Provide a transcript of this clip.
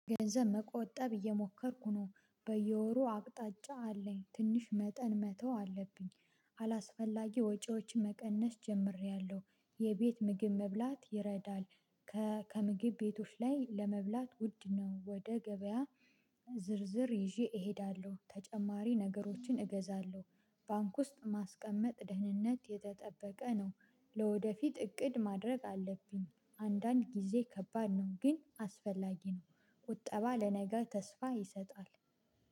ገንዘብ መቆጠብ እየሞከርኩ ነው በየወሩ አቅጣጫ አለኝ ትንሽ መጠን መተው አለብኝ። አላስፈላጊ ወጪዎች መቀነስ ጀምሬያለሁ የቤት ምግብ መብላት ይረዳል። ከምግብ ቤቶች ላይ ለመብላት ውድ ነው ወደ ገበያ ዝርዝር ይዤ እሄዳለሁ ተጨማሪ ነገሮችን እገዛለሁ። ባንክ ውስጥ ማስቀመጥ ደህንነት የተጠበቀ ነው። ለወደፊት እቅድ ማድረግ አለብኝ አንዳንድ ጊዜ ከባድ ነው ግን አስፈላጊ ነው። ቁጠባ ለነገ ተስፋ ይሰጣል